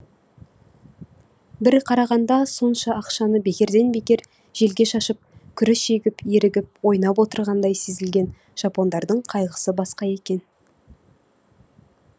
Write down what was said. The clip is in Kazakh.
бір қарағанда сонша ақшаны бекерден бекер желге шашып күріш егіп ерігіп ойнап отырғандай сезілген жапондардың қайғысы басқа екен